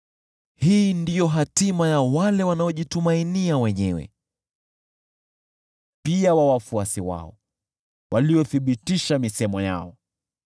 Hii ndiyo hatima ya wale wanaojitumainia wenyewe, pia ya wafuasi wao, waliothibitisha misemo yao.